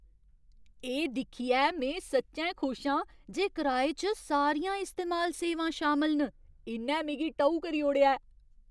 एह् दिक्खियै में सच्चैं खुश आं जे कराए च सारियां इस्तेमाल सेवां शामल न। इ'न्नै मिगी टऊ करी ओड़ेआ!